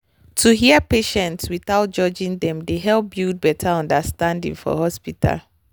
to hear patient without judging dem dey help build better understanding for hospital.